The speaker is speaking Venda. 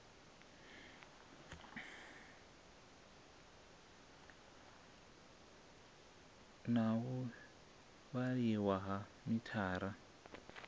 na u vhaliwa ha mithara